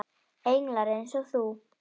Englar eins og þú.